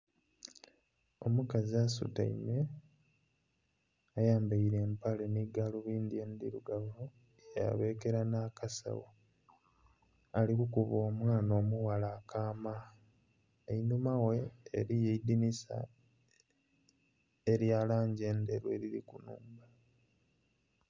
Omukazi asutaime, ayambaile empale nhi galubindi endhirugavu yabekera nh'akasawo. Ali kukuba omwana omughala akaama. Einhuma ghe eliyo eidhinisa, elya langi endheru eliri ku nnhumba.